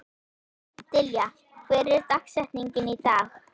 Dilja, hver er dagsetningin í dag?